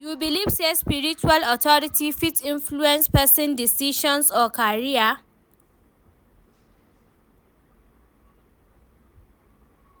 You believe say spiritual authority fit influence pesin decisions or career?